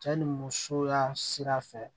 Cɛ ni musoya sira fɛ